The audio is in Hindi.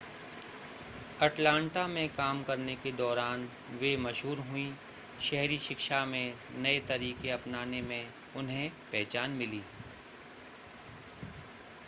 अटलांटा में काम करने के दौरान वे मशहूर हुईं शहरी शिक्षा में नए तरीके अपनाने में उन्हें पहचान मिली